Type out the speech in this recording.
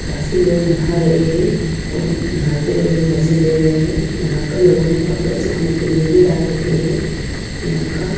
काफी लोग नहा रहे हैं और नहाते हुए मजे ले रहे हैं यहां पर लोगों ने कपड़े सूखने के लिए भी डाल रखे हैं यहां का--